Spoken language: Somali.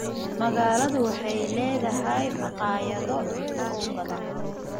Magaaladu waxay leedahay makhaayado cunto oo badan.